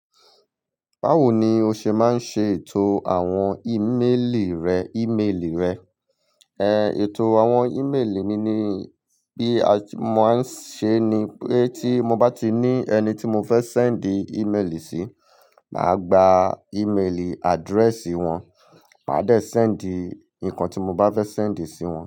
Báwo ni o ṣe máa ń ṣe ètò àwọn ímélì rẹ, ímélì rẹ? Ehn, ètò àwọn ímélì mi ni bí a ti mo máa ń ṣe ni pé tí mo bá ti ní ẹni tí mo fẹ́ sẹ́ǹdì ímélì sí, màá gba ímélì addresi wọ́n, màá dẹ̀ sẹ́ǹdì nǹkan tí mo bá fẹ́ sẹ́ǹdì sí wọ́n.